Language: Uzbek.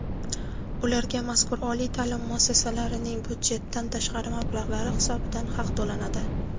ularga — mazkur oliy taʼlim muassasalarning byudjetdan tashqari mablag‘lari hisobidan haq to‘lanadi.